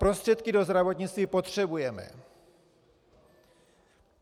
Prostředky do zdravotnictví potřebujeme.